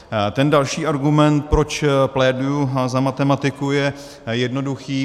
Ten další argument, proč pléduji za matematiku, je jednoduchý.